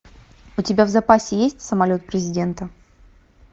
у тебя в запасе есть самолет президента